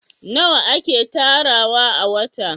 nawa yake tarawa a wata?